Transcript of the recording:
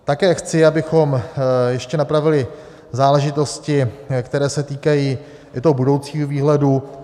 Také chci, abychom ještě napravili záležitosti, které se týkají i toho budoucího výhledu.